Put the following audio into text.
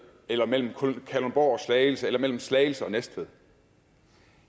eller mellem kalundborg og slagelse eller mellem slagelse og næstved